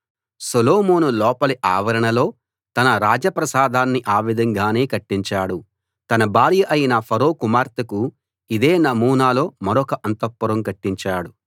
సొలొమోను లోపలి ఆవరణలో తన రాజప్రాసాదాన్ని ఆ విధంగానే కట్టించాడు తన భార్య అయిన ఫరో కుమార్తెకు ఇదే నమూనాలో మరొక అంతఃపురం కట్టించాడు